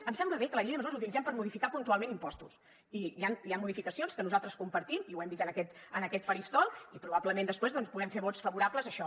em sembla bé que la llei de mesures la utilitzem per modificar puntualment impostos i hi han modificacions que nosaltres compartim i ho hem dit en aquest faristol i probablement després doncs puguem fer vots favorables a això